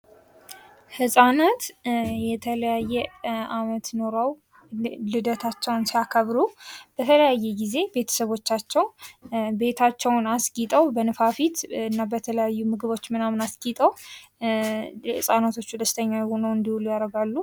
ህፃናት የተለያየ ዓመት ኖረዉ ልደታቸዉን ሲያከብሩ በተለያየ ጊዜ ቤተሰቦቻቸዉ ቤታቸዉን አስጊጠዉ በንፋፊት እና በተለያዩ ምግቦች ምናምን አስጊጠዉ ህፃናቶቹ ደስተኛ ሆነዉ እንዲዉሉ ያደርጋሉ።